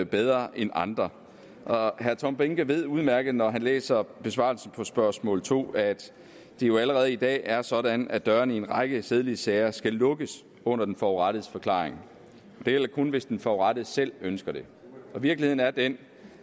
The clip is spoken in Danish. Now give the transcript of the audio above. bedre end andre herre tom behnke ved udmærket når han læser besvarelsen på spørgsmål to at det jo allerede i dag er sådan at dørene i en række sædelighedssager skal lukkes under den forurettedes forklaring det gælder kun hvis den forurettede selv ønsker det virkeligheden er den